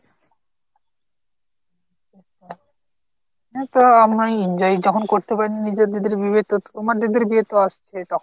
হ্যাঁ তো আমি ওই enjoy যখন করতে পারিনি তো নিজের দিদির বিয়েতে তো তোমার দিদির বিয়ে তো আসছে তখন